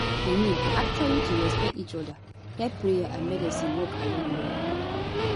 i mean actually to respect each oda help prayer and medicine work along well